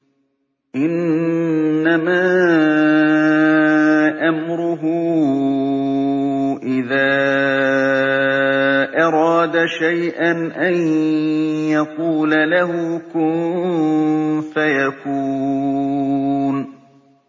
إِنَّمَا أَمْرُهُ إِذَا أَرَادَ شَيْئًا أَن يَقُولَ لَهُ كُن فَيَكُونُ